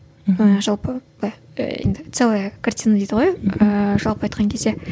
мхм жалпы былай енді целая картина дейді ғой ыыы жалпы айтқан кезде